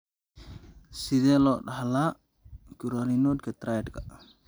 Sidee loo dhaxlaa Currarinoga triadka?